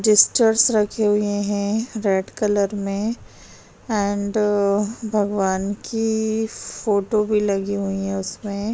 जिस्चार्स रखे हुए हैं रेड कलर में एंड भगवन की फोटो भी लगी हुई है उसमे --